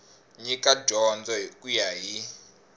nyika dyondzo ku ya hi